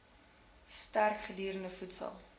sterk gegeurde voedsel